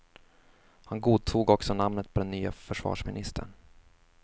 Han godtog också namnet på den nye försvarsministern.